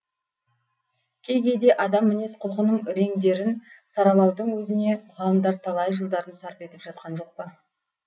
кей кейде адам мінез құлқының реңдерін саралаудың өзіне ғалымдар талай жылдарын сарп етіп жатқан жоқ па